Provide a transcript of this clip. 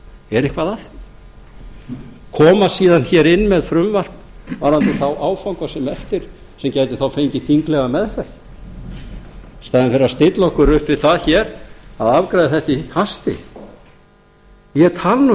er eitthvað að því koma síðan hér inn með frumvarp varðandi þá áfanga sem eru eftir sem gætu þá fengið þinglega meðferð í stað þess að stilla okkur upp við það hér að afgreiða þetta í hasti ég tala